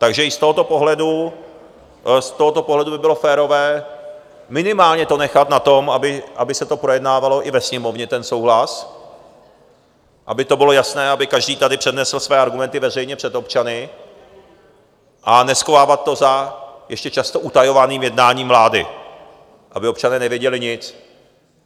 Takže i z tohoto pohledu by bylo férové minimálně to nechat na tom, aby se to projednávalo i ve Sněmovně, ten souhlas, aby to bylo jasné, aby každý tady přednesl své argumenty veřejně před občany, a neschovávat to za ještě často utajovaným jednáním vlády, aby občané nevěděli nic.